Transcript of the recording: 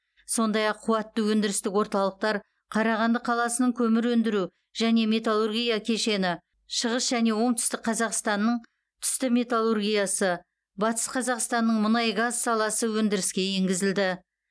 сондай ақ қуатты өндірістік орталықтар қарағанды қаласының көмір өндіру және металлургия кешені шығыс және оңтүстік қазақстанның түсті металлургиясы батыс қазақстанның мұнай газ саласы өндіріске енгізілді